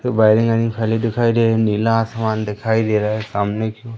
खाली दिखाई दे रही नीला आसमान दिखाई दे रहा है सामने--